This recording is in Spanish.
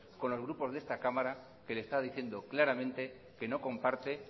con los grupos de esta cámara que le están diciendo claramente que no comparte